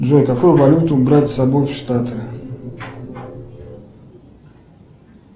джой какую валюту брать с собой в штаты